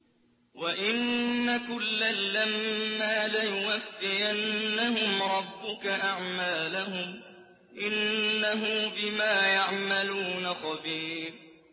وَإِنَّ كُلًّا لَّمَّا لَيُوَفِّيَنَّهُمْ رَبُّكَ أَعْمَالَهُمْ ۚ إِنَّهُ بِمَا يَعْمَلُونَ خَبِيرٌ